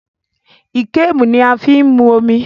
Íkémù ni a fí máa ń mu omi